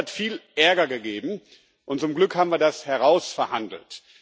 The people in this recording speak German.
Das hat viel Ärger gegeben, und zum Glück haben wir das herausverhandelt.